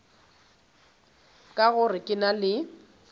ka gore ke na le